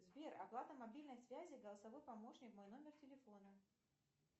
сбер оплата мобильной связи голосовой помощник мой номер телефона